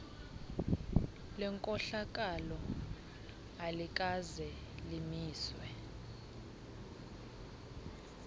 lenkohlakalo alikaze limiswe